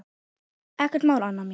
Ekkert mál, Anna mín.